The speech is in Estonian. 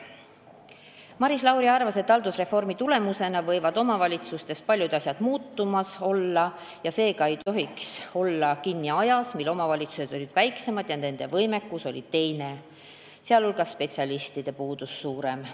Maris Lauri arvas, et haldusreformi tulemusena võivad omavalitsustes paljud asjad veel muutuda, seega ei tohiks olla kinni ajas, kui omavalitsused olid väiksemad ja nende võimekus teine, sh spetsialistide puudus suurem.